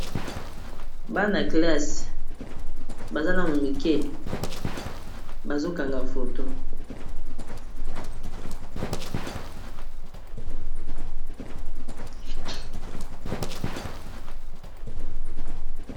Bana classe baza nanu mike bazo kanga foto.